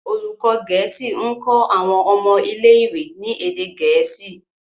olùkó gèésì nkọ àwọn ọmọ ilé ìwé ní èdè gèésì.